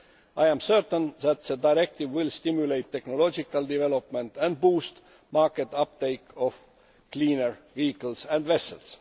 I am certain that the directive will stimulate technological development and boost the market uptake of cleaner vehicles and vessels.